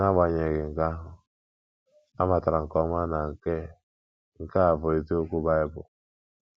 N’agbanyeghị nke ahụ, amatara m nke ọma na nke nke a bụ eziokwu Bible.